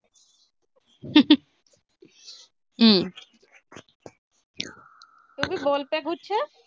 ਕਹਿੰਦੀ ਬੋਲ ਪੈ ਕੁਛ।